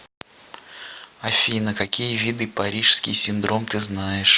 афина какие виды парижский синдром ты знаешь